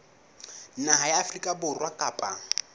naha ya afrika borwa kapa